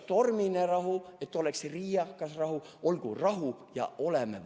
/ Olgu rahulik rahu, / või tormine rahu, / või riiakas rahu!